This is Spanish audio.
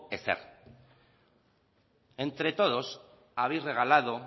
ezer entre todos habéis regalado